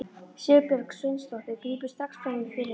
Sigurbjörg Sveinsdóttir grípur strax fram í fyrir henni.